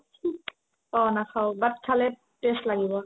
অ নাখাও but খালে taste লাগিব